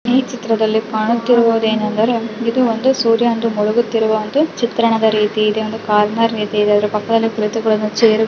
ಈ ಚಿತ್ರದಲ್ಲಿ ಕಾಣುತ್ತಿರುವುದೇನಂದರೆ ಇದೊಂದು ಸೂರ್ಯನು ಮುಳುಗುತ್ತಿರುವ ಒಂದು ಚಿತ್ರಣದ ರೀತಿ ಇದೆ. ಒಂದು ಕಾರ್ ಇದೆ ಅದರ ಪಕ್ಕಾದಲ್ಲಿ ಕುಳಿತುಕೊಳ್ಳಲು ಚೇರ್ --.